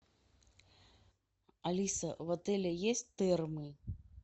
алиса в отеле есть термы